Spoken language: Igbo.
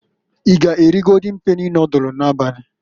I g'eri Goldin peni nodulu n'abali?